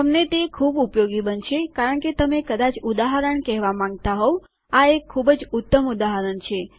તમને તે ખૂબ ઉપયોગી બનશે કારણ કે તમે કદાચ ઉદાહરણ કહેવા માંગતા હોવ આ એક ખૂબ જ ઉત્તમ ઉદાહરણ છે